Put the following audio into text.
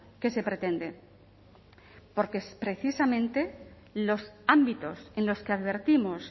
que se pretende porque precisamente los ámbitos en los que advertimos